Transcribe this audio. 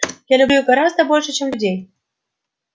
я люблю их гораздо больше чем людей